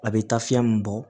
A bɛ taa fiyɛn mun bɔ